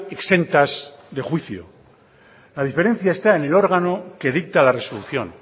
exentas de juicio la diferencia está en el órgano que dicta la resolución